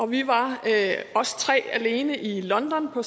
vi var os tre alene i london på